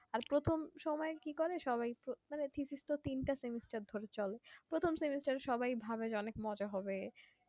আর প্রথম সময় কি করে সবাই একটু মানে থিতিস তো তিনটে semester ধরে চলে প্রথম semester এ সবাই ভাবে যে অনেক মজা হবে